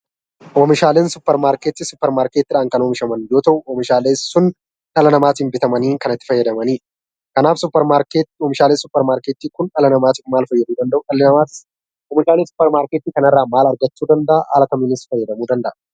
Oomishaaleen suupermaarkeetii, suupermaarkeetiin kan oomishaman yoo ta'u, oomishaaleen sun dhala namaatiin bitamanii kan itti fayyadamanidha. Kanaaf oomishaaleen suupermaarkeetii Kun dhala namaatiif maal fayyaduu danda'u? Dhalli namaas waantota suupermaarkeetii kana irraa maal argachuu danda'a? Haala kamiinis fayyadamuu danda'a?